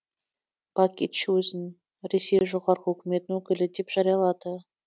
бакич өзін ресей жоғарғы өкіметінің өкілі деп жариялады